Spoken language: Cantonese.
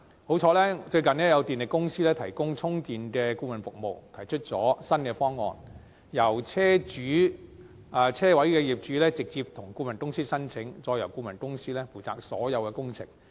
幸好，最近有電力公司提供充電的顧問服務，提出新方案，由車位的業主直接向顧問公司申請，再由顧問公司負責所有工程。